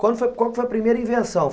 Qual foi, qual foi a primeira invenção?